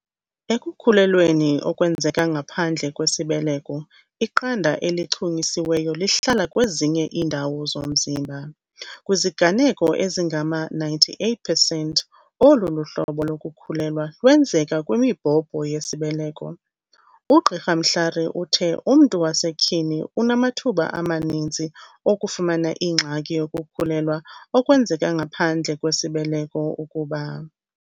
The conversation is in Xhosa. "Ekukhulelweni okwenzeka ngaphandle kwesibeleko, iqanda elichunyisiweyo lihlala kwezinye iindawo zomzimba. Kwiziganeko ezingama-98 percent, olu hlobo lokukhulelwa lwenzeka kwimibhobho yesibeleko. UGqr Mhlari uthe umntu wasetyhini unamathuba amaninzi okufumana ingxaki yokukhulelwa okwenzeka ngaphandle kwesibeleko ukuba."